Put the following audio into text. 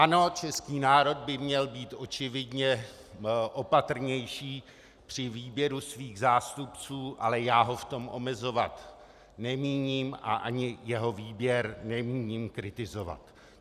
Ano, český národ by měl být očividně opatrnější při výběru svých zástupců, ale já ho v tom omezovat nemíním a ani jeho výběr nemíním kritizovat.